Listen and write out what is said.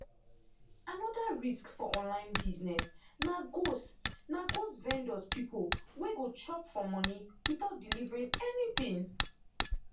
another risk for online business na ghost na ghost vendors pipo wey go chop for money without delievering anything